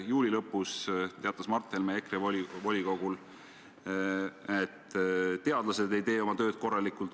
Juuli lõpus teatas Mart Helme EKRE volikogul, et teadlased ei tee oma tööd korralikult.